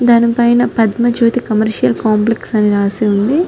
దాని పైన Padmajyoti commercial complex అని రాసి ఉంది.